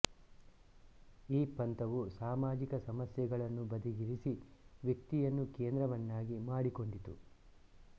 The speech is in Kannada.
ಈ ಪಂಥವು ಸಾಮಾಜಿಕ ಸಮಸ್ಯೆಗಳನ್ನು ಬದಿಗಿರಿಸಿ ವ್ಯಕ್ತಿಯನ್ನು ಕೇಂದ್ರವನ್ನಾಗಿ ಮಾಡಿಕೊಂಡಿತು